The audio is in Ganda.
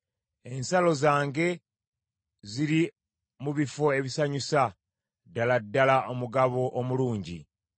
Ensalo zange ziri mu bifo ebisanyusa, ddala ddala omugabo omulungi.